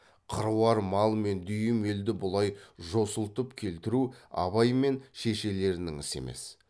қыруар мал мен дүйім елді бұлай жосылтып келтіру абай мен шешелерінің ісі емес